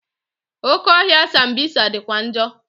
Oke ọhịa sambisa dịkwa njọ.